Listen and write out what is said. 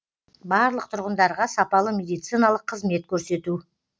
барлық тұрғындарға сапалы медициналық қызмет көрсету